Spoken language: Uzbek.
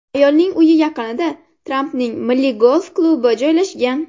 Ayolning uyi yaqinida Trampning Milliy golf klubi joylashgan.